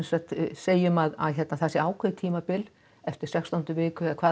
segjum að það sé ákveðið tímabil eftir sextándu viku eða hvað